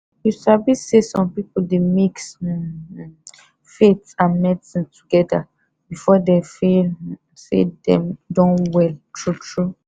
you sabi say some pipu dey mix um faith and medicine togeda before them feel say dem don well true true